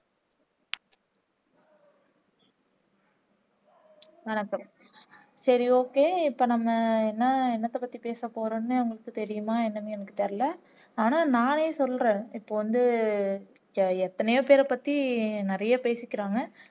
வணக்கம் சரி okay இப்போ நம்ம என்ன என்னத்தப்பத்தி பேசப்போறோம்னு உங்களுக்கு தெரியுமா என்னன்னு எனக்கு தெரியல ஆனா நானே சொல்றேன் இப்போ வந்து எ எத்தனையோ பேரப்பத்தி நிறைய பேசிக்கிறாங்க